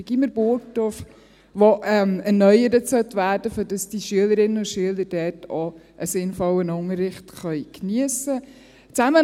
Das Gymnasium Burgdorf, das erneuert werden sollte, damit die Schülerinnen und Schüler dort auch einen sinnvollen Unterricht geniessen können.